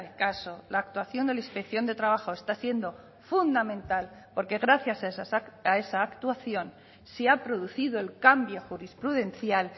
caso la actuación de la inspección de trabajo está siendo fundamental porque gracias a esa actuación se ha producido el cambio jurisprudencial